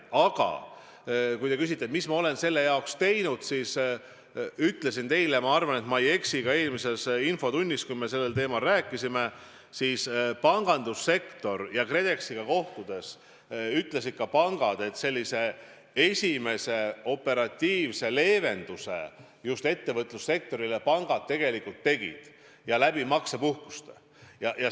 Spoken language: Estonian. Aga kui te küsite, mis ma olen selle jaoks teinud, siis ma ütlesin ka eelmises infotunnis, kui me sellel teemal rääkisime, et pangandussektori ja KredExi esindajate kohtudes ütlesid pangad, et sellise esimese operatiivse leevenduse just ettevõtlussektorile pangad tegelikult tegid, võimaldades maksepuhkust.